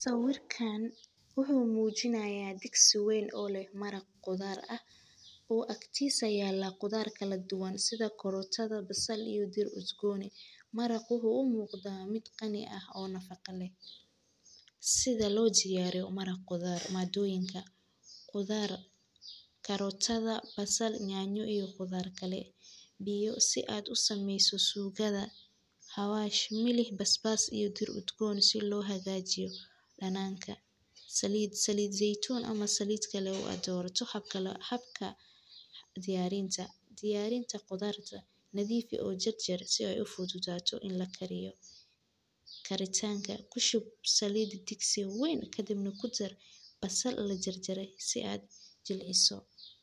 Sawirkan waxuu mujinaaya diksi wayn oo leh maraq qudar ah oo aktisa yaala qudar kaladuwan sida karotada, basal, iyo dir udgoni. Maraqa waxuu u muqda mid qani ah oo nafaqa leh sida lodiyariyo maraqoda madoyinka qudar karotada, basal, yanyo iyo qudar kale biyo si aad u sameyso sugada xawash milix basbas iyo dir udgon si loohagajiyo dananka salid zeitun ama salid kale aad doorata habka diyarinta. Diyarinta qudarta nadiif u jarjar si ay u fududato in lakariyo. Karintanka kushub salid diksi wayn kadibna kudar basal lajarjaray si ad u jilciso.